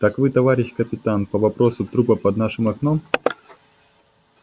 так вы товарищ капитан по вопросу трупа под нашим окном